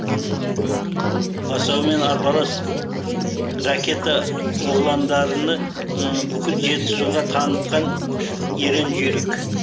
асаумен арпалыс ракета оғландарыны бүкіл жетісуға танытқан ерен жүйрік